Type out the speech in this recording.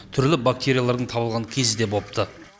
түрлі бактериялардың табылған кезі де бопты